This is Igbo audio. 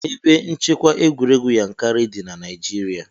Ebe nchekwa egwuregwu Yankarị dị ná Naịjirịa.